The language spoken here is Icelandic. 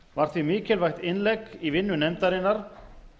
var því mikilvægt innlegg í vinnu nefndarinnar